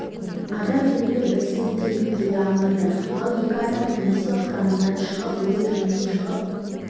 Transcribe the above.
адам белгілі бір себептермен келе алмады ал екі адам комиссия құрамынан шығып өз еркімен шығып